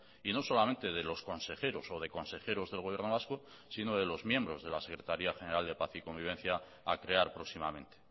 y no solamente de los consejeros o de consejeros del gobierno vasco sino de los miembros de la secretaría general de paz y convivencia a crear próximamente